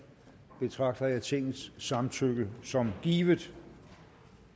betragter jeg tingets samtykke som givet